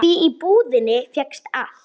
Því í búðinni fékkst allt.